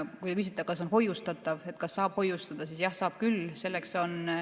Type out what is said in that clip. Kui te küsite, kas ta on hoiustatav, kas seda saab hoiustada, siis jah, saab küll.